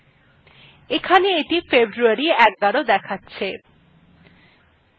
এইটি এখানে february ১১ দেখাচ্ছে